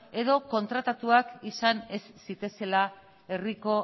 edo kontratatuak izan ez zitezela herriko